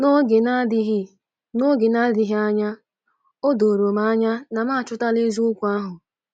N’oge na-adịghị N’oge na-adịghị anya, o doro m anya na m achọtala eziokwu ahụ.